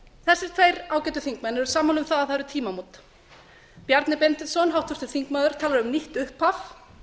þessir tveir ágætu þingmenn urðu sammála um að það væru tímamót háttvirtur þingmaður bjarni benediktsson talaði um nýtt upphaf